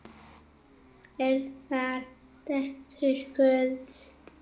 Eru þær dætur Guðs?